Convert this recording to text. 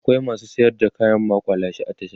akwai masu sayar da kayan maƙulashe a tasha